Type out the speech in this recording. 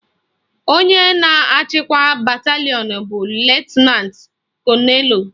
Onye na-achịkwa batalịọn bụ Lutenantị Kọnelụ